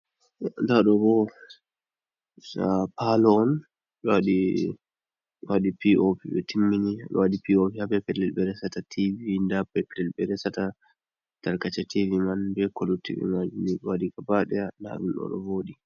Nda ɗo bo sa Palo'on.ɓe waɗi ɓe waɗi P.o.p ɓe timmini ɓe waɗi P.o.p ha be babal ɓe resata Tv..nda Peplel ɓe resata Tarkace Tv mai be Ko lutti mai ni ɓe waɗi Gaba ɗaya ɗon voɗi.